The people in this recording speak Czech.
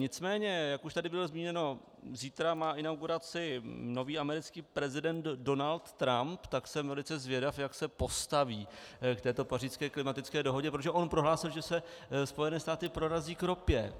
Nicméně jak už tady bylo zmíněno, zítra má inauguraci nový americký prezident Donald Trump, tak jsem velice zvědav, jak se postaví k této pařížské klimatické dohodě, protože on prohlásil, že se Spojené státy prorazí k ropě.